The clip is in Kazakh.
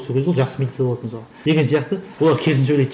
сол кезде ол жақсы милиция болады мысалы деген сияқты олар керісінше ойлайды